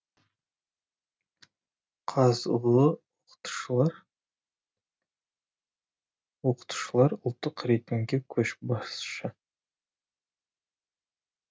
қазұу оқытушылары ұлттық рейтингте көшбасшы